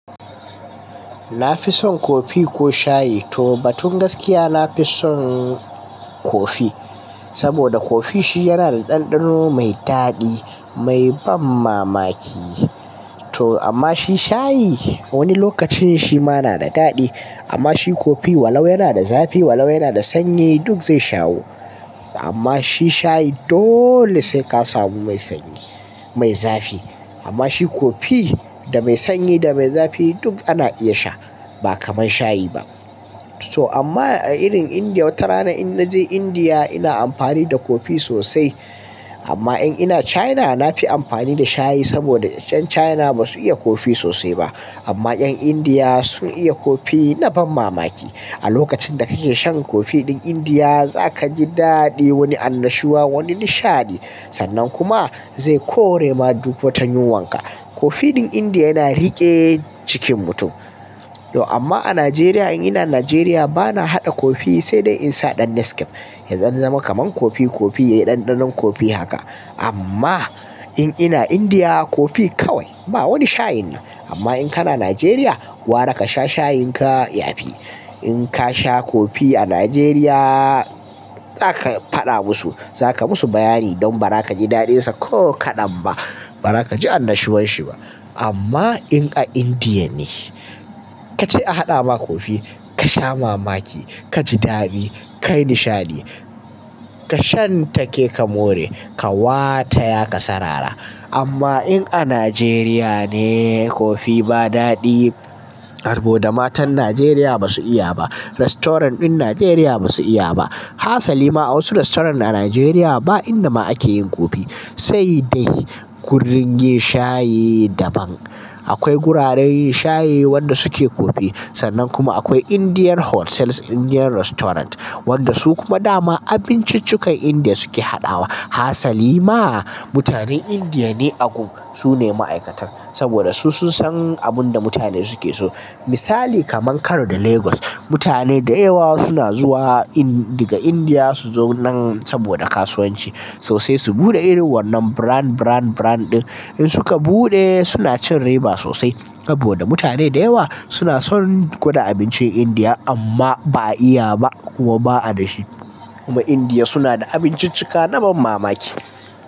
Na fi son kofi ko shayi? To batun gaskiya, na fi son kofi saboda kofi shi yana da ɗanɗano mai daɗi, mai ban mamaki. To amma shi shayi wani lokacin shi ma yana da daɗi. Amma shi kofi walau yana da zafi, walau yana da sanyi duk zai shawu. Amma shi shayi dole sai ka samu mai sanyi, mai zafi. Amma shi kofi da mai sanyi da mai zafi duk ana iya sha ba kamar shayi ba. So amma a irin Indiya wata rana in naje Indiya ina amfani da kofi sosai. Amma in ina China na fi amfani da shayi saboda 'yan China ba su iya kofi sosai ba. Amma 'yan Indiya sun iya kofi na ban mamaki. A lokacin da kake shan kofi ɗin Indiya za ka ji daɗi, wani annashuwa, wani nishaɗi. Sannan kuma zai kore ma duk wata yunwanka. Kofi ɗin Indiya yana riƙe cikin mutum. To amma a Najeriya in ina Najeriya bana haɗa kofi sai dai in sa ɗan Nescafe ya ɗan zama kamar kofi kofi ya yi ɗanɗanon kofi haka. Amma in ina Indiya kofi kawai ba wani shayinnan. Amma in kana Najeriya, gwara ka sha shayinka ya fi. In ka sha kofi a Najeriya za ka faɗa musu, za ka musu bayani don ba za ka ji daɗinsa ko kaɗan ba. Ba za ka ji annashuwan shi ba. Amma in a Indiya ne ka ce a haɗa ma kofi, ka sha mamaki, ka ji daɗi, ka yi nishaɗi. Ka shan take ka more, ka wata ya ka sarara. Amma in a Najeriya ne kofi ba daɗi saboda matan Najeriya ba su iya ba. Restaurant ɗin Najeriya ba su iya ba. Hasali ma a wasu restoran a Najeriya ba inda ma ake yin kofi sai dai kurin yin shayi daban. Akwai guraren yin shayi wanda suke kofi sannan kuma akwai Indian Hotels, Indian Restaurant wanda su kuma dama abinciccukan Indiya suke haɗawa. Hasali ma mutanen Indiya ne a gun. Su ne ma'aikatan saboda su sun san abin da mutane suke so. Misali kamar Kano da Lagos, mutane da yawa suna zuwa In-daga Indiya su zo nan saboda kasuwanci. To sai su buɗe irin wannan brand, brand, brand ɗin. In suka buɗe suna cin riba sosai saboda mutane da yawa suna son gwada abincin Indiya amma ba, a iya ba kuma ba a da shi. Kuma Indiya suna da abinciccika na ban mamaki.